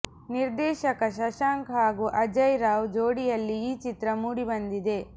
ನಿರ್ದೇಶಕ ಶಶಾಂಕ್ ಹಾಗೂ ಅಜಯ್ ರಾವ್ ಜೋಡಿಯಲ್ಲಿ ಈ ಚಿತ್ರ ಮೂಡಿ ಬಂದಿದೆ